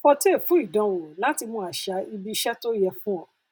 fortay fún ìdánwò láti mọ àṣà ibi iṣẹ tó yẹ fún ọ